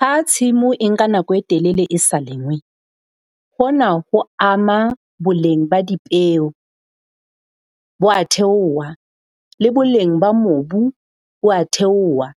Ha tshimo e nka nako e telele e sa lengwe, hona ho ama boleng ba dipeo, bo a theoha. Le boleng ba mobu bo a theoha.